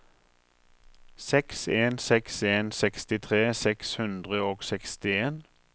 seks en seks en sekstitre seks hundre og sekstien